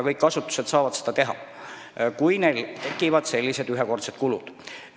Kõik asutused saavad seda teha, kui neil tekib selliseid ühekordseid kulusid.